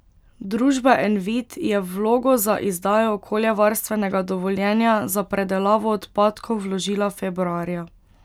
Družba Envit je vlogo za izdajo okoljevarstvenega dovoljenja za predelavo odpadkov vložila februarja.